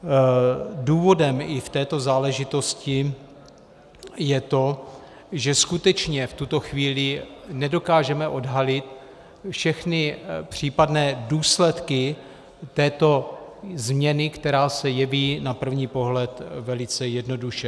Důvodem i v této záležitosti je to, že skutečně v tuto chvíli nedokážeme odhalit všechny případné důsledky této změny, která se jeví na první pohled velice jednoduše.